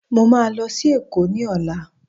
Mo máa lọ sí èkó ní ọ̀la